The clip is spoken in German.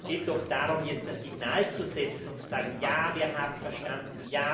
Es geht doch darum, jetzt ein Signal zu setzen und zu sagen Ja, wir haben verstanden.